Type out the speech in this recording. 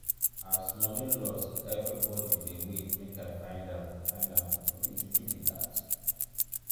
as money loss everybodi dey wait make i find am find am no be juju be dat?